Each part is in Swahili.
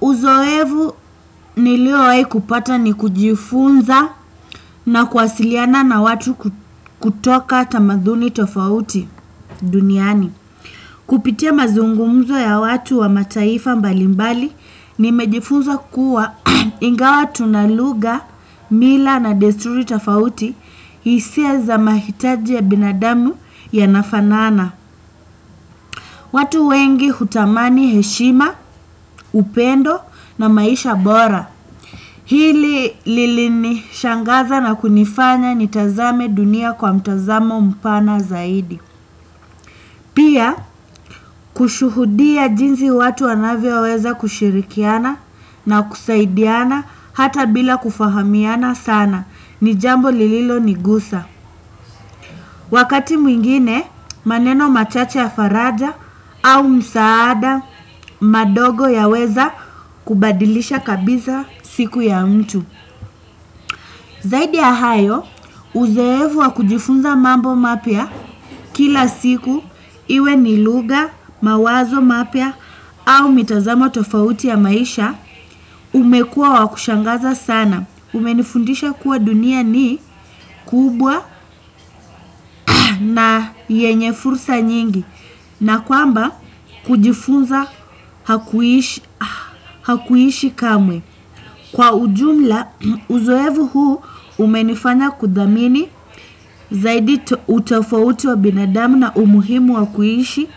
Uzoefu niliowahi kupata ni kujifunza na kuwasiliana na watu kutoka tamaduni tofauti duniani. Kupitia mazungumzo ya watu wa mataifa mbalimbali nimejifunza kuwa ingawa tuna lugha mila na desturi tofauti hisia za mahitaji ya binadamu yanafanana. Watu wengi hutamani heshima, upendo na maisha bora. Hili lilinishangaza na kunifanya ni tazame dunia kwa mtazamo mpana zaidi. Pia kushuhudia jinsi watu wanavyoweza kushirikiana na kusaidiana hata bila kufahamiana sana ni jambo lililonigusa. Wakati mwingine maneno machache ya faraja au msaada madogo yaweza kubadilisha kabisa siku ya mtu. Zaidi ya hayo, uzoefu wa kujifunza mambo mapya kila siku iwe ni lugha, mawazo mapya au mitazamo tofauti ya maisha umekua wa kushangaza sana. Umenifundisha kuwa dunia ni kubwa na ni yenye fursa nyingi na kwamba kujifunza hakuishi kamwe. Kwa ujumla, uzoefu huu umenifanya kuthamini zaidi utofauti wa binadamu na umuhimu wa kuishi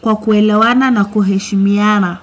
kwa kuelewana na kuheshimiana.